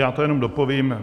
Já to jenom dopovím.